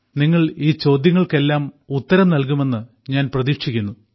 നിങ്ങൾ ഈ ചോദ്യങ്ങൾക്കെല്ലാം ഉത്തരം നൽകുമെന്ന് ഞാൻ പ്രതീക്ഷിക്കുന്നു